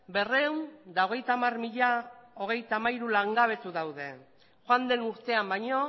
berrehun eta hogeita hamar mila hogeita hamairu langabetu daude joan den urtean baino